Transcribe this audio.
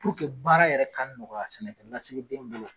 baara yɛrɛ ka nɔgɔya sɛnɛkɛnasigi den bolo